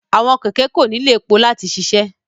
Awọn kẹkẹ ko nilo epo lati ṣiṣẹ